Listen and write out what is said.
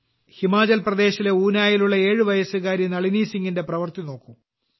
ഹിമാചൽ പ്രദേശിലെ ഊനായിലുള്ള 7 വയസ്സുകാരി നളിനി സിംഗിന്റെ പ്രവൃത്തി നോക്കൂ